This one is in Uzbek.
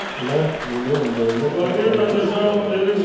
Ular million dollar sarflashni istaydi.